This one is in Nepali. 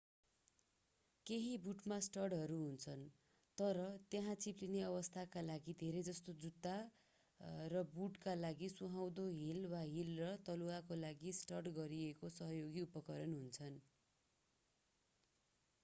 केही बुटमा स्टडहरू हुन्छन् र त्यहाँ चिप्लिने अवस्थाका लागि धेरैजसो जुत्ता र बुटका लागि सुहाउँदो हिल वा हिल र तलुवाका लागि स्टड गरिएको सहयोगी उपकरण हुन्छन्